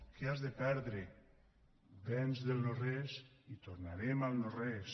què has de perdre vens del no res i tornarem al no res